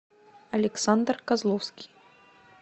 александр козловский